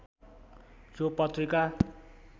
यो पत्रिका